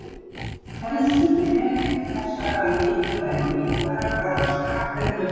helstu vefir þessara mikilvægu líffæra kallast grátt efni og hvítt efni